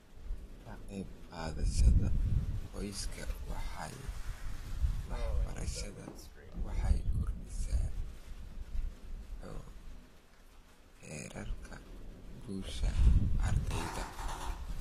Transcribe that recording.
Ka qayb qaadashada qoysaska waxbarashada waxay kordhisaa heerarka guusha ardayda.